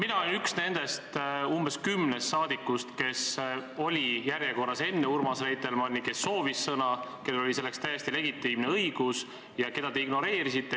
Mina olin üks nendest umbes kümnest saadikust, kes oli järjekorras enne Urmas Reitelmanni ja kes soovis sõna ja kel oli selleks täiesti legitiimne õigus ja keda te ignoreerisite.